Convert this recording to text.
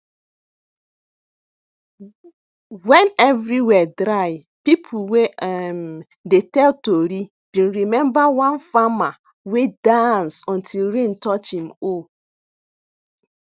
when everywhere dry people wey um dey tell tori been remember one farmer wey dance until rain touch im hoe